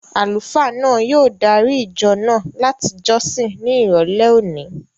Àlùfáà náà yóò dári ìjọ náà láti jọ́sìn ní ìrọ̀lẹ́ òní